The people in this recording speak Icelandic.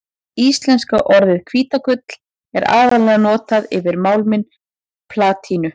Íslenska orðið hvítagull er aðallega notað yfir málminn platínu.